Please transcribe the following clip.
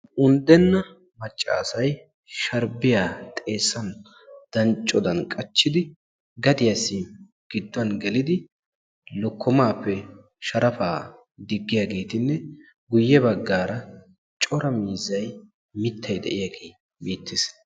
Unddena maccasay sharbbiya xeessan danccodan qachchidi gadiyappe gidduwan gelidi lokkomappe sharappa diggiyaageetinne guyye baggaara cora miizzay mittay de'iyaage beettees.